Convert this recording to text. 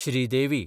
Sridevi